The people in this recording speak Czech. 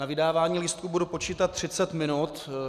Na vydávání lístků budu počítat 30 minut.